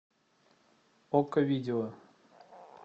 окко видео